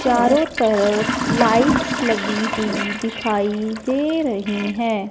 चारों तरफ लाइट्स लगी हुई दिखाई दे रही है।